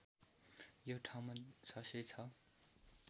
यो ठाउँमा ६०६